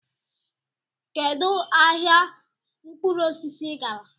Kedu ahịa mkpụrụ osisi ị gara?